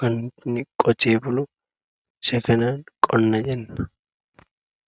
kan inni qotee bulu, isa kanaan qonna jenna.